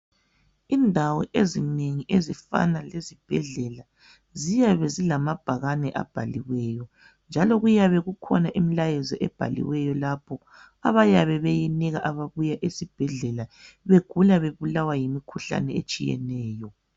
Indawo ezinengi ezifana lezibhedlela ziyabe zilamabhakane abhaliweyo njalo kuyabe kukhona imilayezo ebhaliweyo lapho abayabe beyinika ababuya esibhedlela begula bebulawa yimikhuhlane etshiyeneyo.